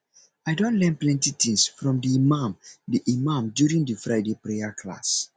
i don learn plenty things from the imam the imam during di friday prayer class